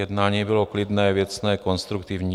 Jednání bylo klidné, věcné, konstruktivní.